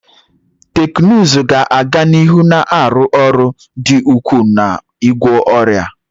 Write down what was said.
Teknụzụ ga-aga n'ihu na-arụ ọrụ dị ukwuu n'ịgwọ ọrịa